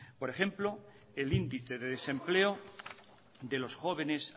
por ejemplo el índice de desempleo de los jóvenes